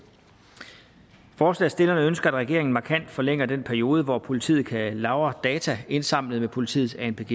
forslagsstillerne ønsker at regeringen markant forlænger den periode hvor politiet kan lagre data indsamlet med politiets anpg